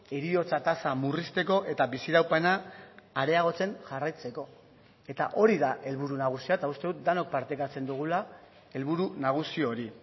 heriotza tasa murrizteko eta biziraupena areagotzen jarraitzeko eta hori da helburu nagusia eta uste dut denok partekatzen dugula helburu nagusi hori